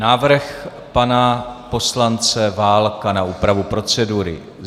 Návrh pana poslance Válka na úpravu procedury.